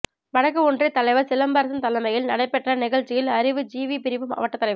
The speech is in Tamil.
வடக்கு ஒன்றிய தலைவர் சிலம்பரசன் தலைமையில் நடைபெற்ற நிகழ்ச்சியில் அறிவு ஜீவி பிரிவு மாவட்டத்தலைவர்